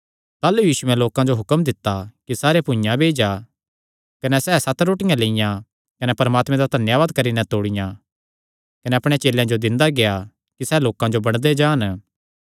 ताह़लू यीशुयैं लोकां जो हुक्म दित्ता कि सारे भुइआं बेई जा कने सैह़ सत रोटियां लियां कने परमात्मे दा धन्यावाद करी नैं तोड़ियां कने अपणे चेलेयां जो दिंदा गेआ कि सैह़ लोकां जो बंडदे जान